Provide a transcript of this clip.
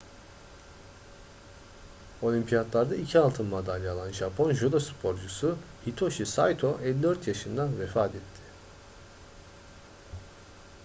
olimpiyatlarda iki altın madalya alan japon judo sporcusu hitoshi saito 54 yaşında vefat etti